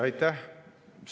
Aitäh!